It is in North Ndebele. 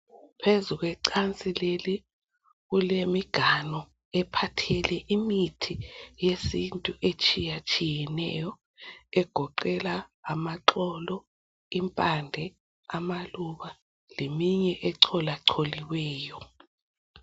phezulu kwecansi leli kulemiganu ephathele imithi yesintu etshiyatshiyeneyo egoqela amaxholo impande amaluba leyinye ecolwacoliweyo